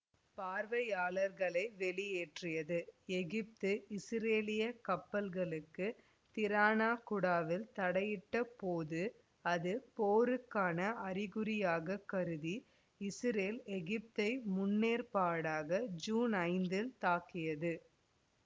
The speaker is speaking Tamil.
பார்வையாளர்களை வெளியேற்றியது எகிப்து இசுரேலிய கப்பல்களுக்கு திராணா குடாவில் தடையிட்ட போது அது போருக்கான அறிகுறியாகக் கருதி இசுரேல் எகிப்தை முன்னேற்பாடாக ஜீன் ஐந்தில் தாக்கியது